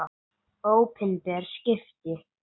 Opinber skipti